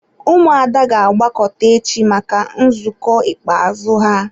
Ụmụada ga-agbakọta echi maka nzukọ ikpeazụ ha.